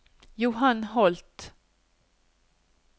Johan Holth